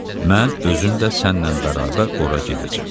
Mən özüm də sənnən bərabər ora gedəcəm.